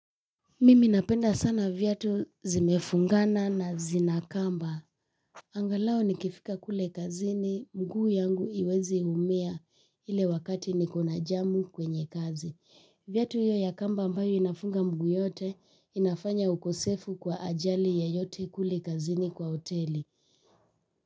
Mimi napenda sana viatu zimefungana na zinakamba. Angalau nikifika kule kazini, mguu yangu hiwezi umia ile wakati nikona jamu kwenye kazi. Viatu hiyo ya kamba ambayo inafunga mguu yote inafanya ukosefu kwa ajali yeyote kule kazini kwa hoteli.